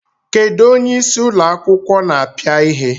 Kedụ onyeisí ụlọ akwụkwọ na-apịa ihe?